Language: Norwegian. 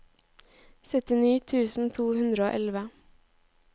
syttini tusen to hundre og elleve